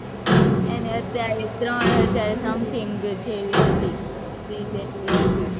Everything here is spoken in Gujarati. એને અત્યારે ત્રણ હાજર something જેવી હતી, fees એટલી હતી,